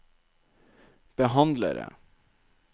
behandlere